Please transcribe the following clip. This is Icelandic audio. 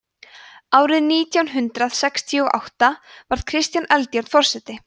árið nítján hundrað sextíu og átta varð kristján eldjárn forseti